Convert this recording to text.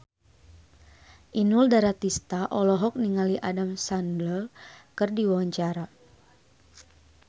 Inul Daratista olohok ningali Adam Sandler keur diwawancara